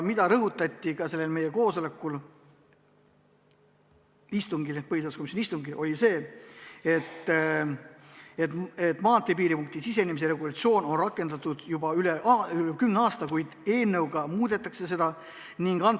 Veel rõhutati meie istungil, et maanteepiiripunkti sisenemise regulatsioon on kasutusel olnud juba üle kümne aasta, eelnõuga nüüd seda muudetakse.